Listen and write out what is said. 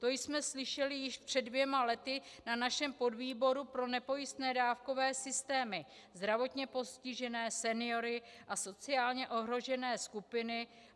To jsme slyšeli již před dvěma lety na našem podvýboru pro nepojistné dávkové systémy, zdravotně postižené seniory a sociálně ohrožené skupiny.